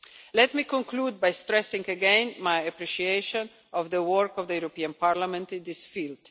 Let me conclude by stressing again my appreciation of the work of the European Parliament in this field.